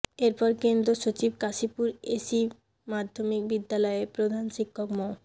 এর পর কেন্দ্র সচিব কাশিপুর এসি মাধ্যমিক বিদ্যালয়ের প্রধান শিক্ষক মো